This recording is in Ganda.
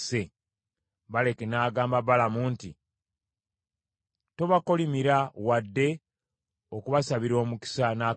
Balaki n’agamba Balamu nti, “Tobakolimira wadde okubasabira omukisa n’akamu!”